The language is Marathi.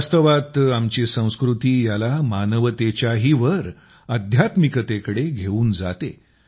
वास्तवात आमची संस्कृती याला मानवतेच्याही वर अध्यात्मिकतेकडे घेऊन जाते